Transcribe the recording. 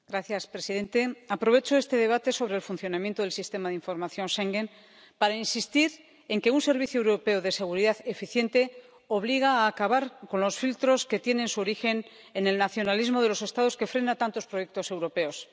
Señor presidente, aprovecho este debate sobre el funcionamiento del Sistema de Información Schengen para insistir en que un servicio europeo de seguridad eficiente obliga a acabar con los filtros que tienen su origen en el nacionalismo de los Estados que frena tantos proyectos europeos.